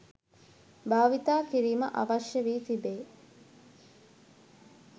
භාවිතා කිරීම අවශ්‍ය වී තිබේ